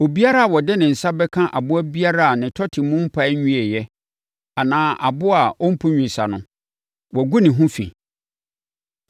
“ ‘Obiara a ɔde ne nsa bɛka aboa biara a ne tɔte mu mpae nwieeɛ anaa aboa a ɔmpu nnwesa no, wagu ne ho fi.